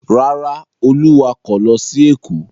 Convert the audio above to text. Rárá, Olú wakọ̀ lọ sí Èkó.